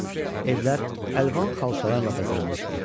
Evlər əlvan xalçalarla bəzənmişdi.